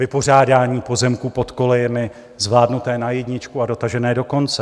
Vypořádání pozemků pod kolejemi zvládnuté na jedničku a dotažené do konce.